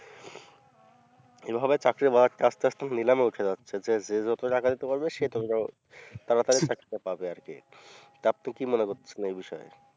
চাকরির বাজারটা আস্তে আস্তে নিলামে উঠে যাচ্ছে যে যে যত টাকা দিতে পারবে সে ততো তাড়াতাড়ি চাকরিটা পারে আরকি তারপরে আপনি কি মনে করতেছেন এই বিষয়ে